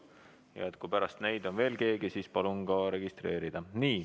Ja kui pärast neid on veel keegi, siis palun end registreerida.